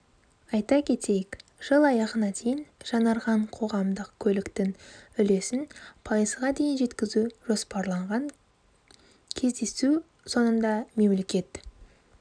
айта кетейік жыл аяғына дейін жаңарған қоғамдық көліктің үлесін пайызға дейін жеткізу жоспарланған кездесу соңында мемлекет